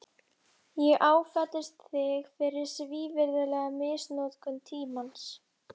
Ég áfellist þig fyrir svívirðilega misnotkun tímans.